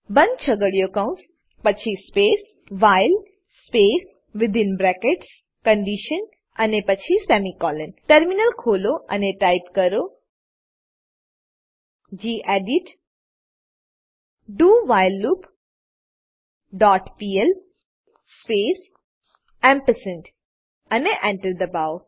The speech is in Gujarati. બંધ છગડીયો કૌંસ પછી space while space within brackets condition અને પછી સેમિકોલોન ટર્મિનલ ખોલો અને ટાઈપ કરો gedit do while loop dot PL space ampersand અને Enter એન્ટર દબાવો